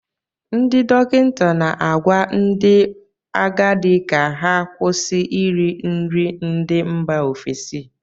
Ndị dọkịta na-agwa ndị agadi ka ha kwụsị iri nri ndị mba ofesi